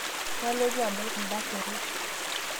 Kaalotu adol kunda perot